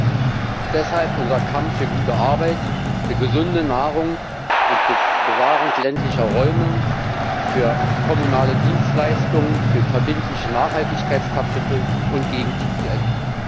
27. Deshalb unser Kampf für gute Arbeit, für gesunde Nahrung, für Bewahrung ländlicher Räume, für kommunale Dienstleistungen, für verbindliche Nachhaltigkeitskapitel und gegen die TTIP.